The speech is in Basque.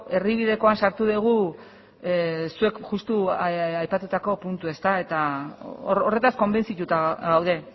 erdibidekoan sartu dugu zuek justu aipatutako puntua eta horretaz konbentzituta gaude